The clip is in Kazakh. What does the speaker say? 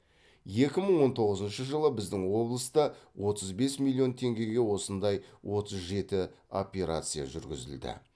екі мың он тоғызыншы жылы біздің облыста отыз бес миллион теңгеге осындай отыз жеті операция жүргізілді